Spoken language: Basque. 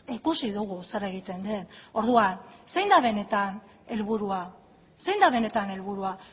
ikusi dugu zer egiten den orduan zein da benetan helburua zein da benetan helburua